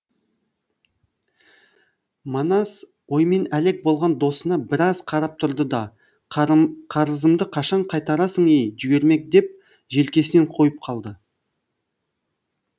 манас оймен әлек болған досына біраз қарап тұрды да қарызымды қашан қайтарасың ей жүгермек деп желкесінен қойып қалды